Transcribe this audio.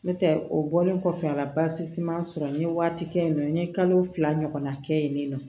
N'o tɛ o bɔlen kɔfɛ a la basiman sɔrɔ n ye waati kɛ yen nɔ n ye kalo fila ɲɔgɔnna kɛ yen nɔ